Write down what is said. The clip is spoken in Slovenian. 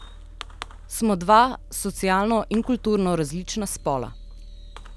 Smo dva socialno in kulturno različna spola.